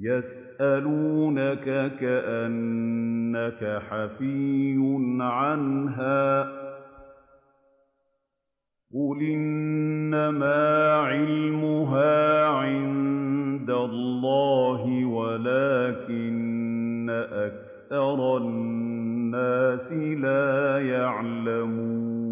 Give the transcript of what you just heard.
يَسْأَلُونَكَ كَأَنَّكَ حَفِيٌّ عَنْهَا ۖ قُلْ إِنَّمَا عِلْمُهَا عِندَ اللَّهِ وَلَٰكِنَّ أَكْثَرَ النَّاسِ لَا يَعْلَمُونَ